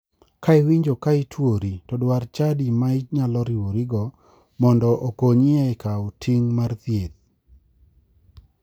Ka iwinjo ka ituori, to dwar chadi ma inyalo riwrigo mondo okonyi e kawo ting' mar thieth.